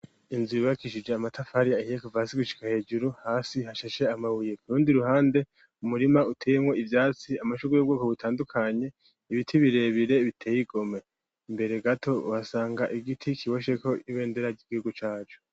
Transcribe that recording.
Inzu bibakishije amatafari ahihekovasi gushika hejuru hasi hashashe amabuye kurundi ruhande umurima utemwo ivyatsi amashurbu y'ubwoko butandukanye ibiti birebire biteye igome imbere gato ubasanga igiti kiwosheko iwendera ry'igihugu cacu.